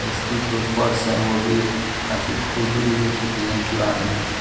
इसकी जो फर्श है वो भी काफी खुरदुरी हो चुकी है पुरानी हो चुकी --